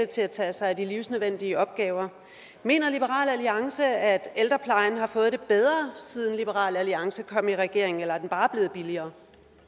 til at tage sig af de livsnødvendige opgaver mener liberal alliance at ældreplejen har fået det bedre siden liberal alliance kom i regering eller er den bare blevet billigere